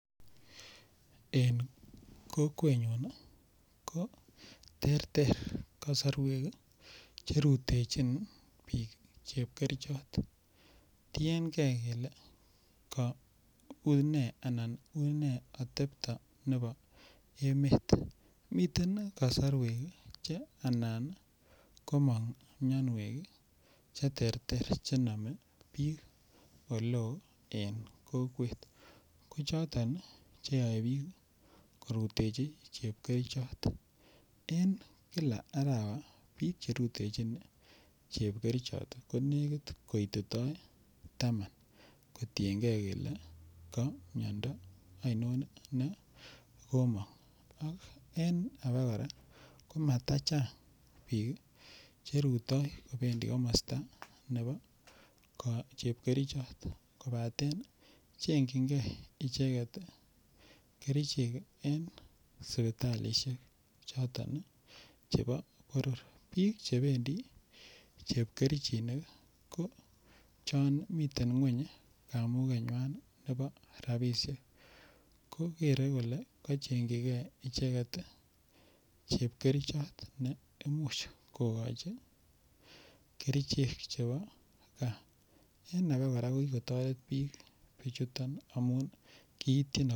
En kokwenyun ko terter kosorwek cherutechin biik chepkerichot tiengei kele ui ne atepto nebo emet miten kasorwek che anan komong' miyonwek cheterter chenome biik ole oo en kokwet ko choton cheyoei biik korutechi chepkerichot en kila arawa biik cherutechin chepkerichot ko lekit koitetoi taman kotingei kele ka miyondo ainon ne komong' ak en age kora ko matachang' biik cherutoi kobendi komosta nebo chepkerichot kobaten chenjingei icheget kerichek en sipitalishek choton chebo boror biik chebendi chepkerichinik ko chon miten ng'weny kamugenywan nebo rapishek ko kere kole kacheng'chigei icheget chepkerichot ne imuch kokochin kerichek chebo kaa en age komuch kotoret biik bichuton amun kiitchin